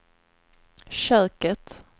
köket